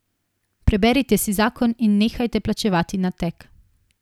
Preberite si zakon in nehajte plačevati nateg.